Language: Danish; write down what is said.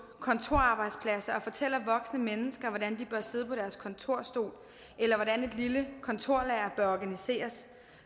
kontorarbejdspladser og fortæller voksne mennesker hvordan de bør sidde på deres kontorstol eller hvordan et lille kontorlager bør organiseres